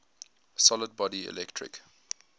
solid body electric